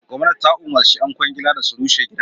Gwamnati ta umarci ƴan ƙwangila da su rushe gidan.